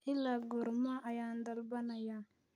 ilaa goorma ayaan dalbanayaa